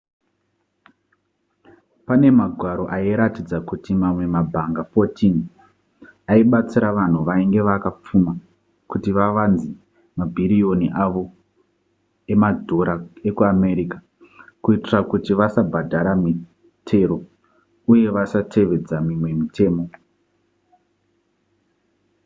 pane magwaro airatidza kuti mamwe mabhanga 14 aibatsira vanhu vainge vakapfuma kuti vavanze mabhiriyoni avo emadhora ekuamerica kuitira kuti vasabhadhara mitero uye vasatevedza mimwe mitemo